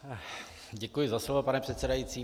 Děkuji za slovo, pane předsedající.